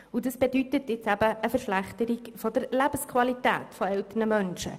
Dies bedeutet eben eine Verschlechterung der Lebensqualität älterer Menschen.